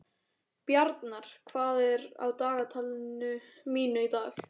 Bjarnar, hvað er á dagatalinu mínu í dag?